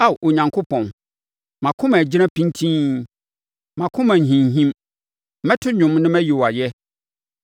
Ao Onyankopɔn, mʼakoma agyina pintinn, mʼakoma nhinhim; mɛto dwom na mayi wo ayɛ.